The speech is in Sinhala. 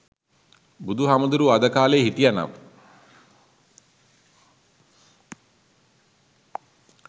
බුදුහාමුදුරුවෝ අද කාලේ හිටියනම්